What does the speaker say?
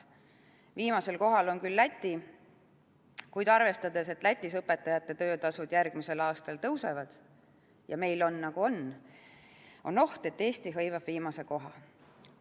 Viimasel kohal on küll Läti, kuid arvestades, et Lätis õpetajate töötasu järgmisel aastal tõuseb ja meil on, nagu on, on oht, et Eesti hõivab viimase koha.